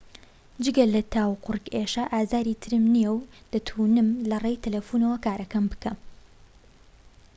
جگە لە تا و قورگ ئێشە ئازاری ترم نیە و دەتونم لەڕێی تەلەفونەوە کارەکەم بکەم